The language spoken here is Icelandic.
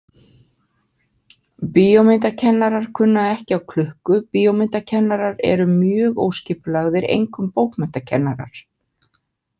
Bíómyndakennarar kunna ekki á klukku Bíómyndakennarar eru mjög óskipulagðir, einkum bókmenntakennarar.